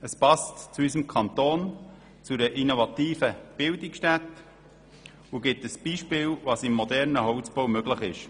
Es passt zu unserem Kanton, zu einer innovativen Bildungsstätte und gibt ein Beispiel, was im modernen Holzbau möglich ist.